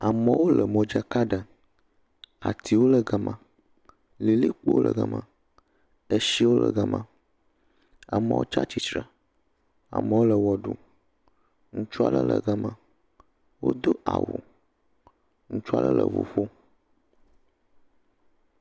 Amewo le modzaka ɖem, atiwo le ga ma, lilikpowo le ga ma, etsiwo le ga ma. Amewo tsi atsitre, amewo le wɔ ɖum, ŋutsu aɖe le ga ma wodo awu. Ŋutsu aɖe le ŋu ƒom.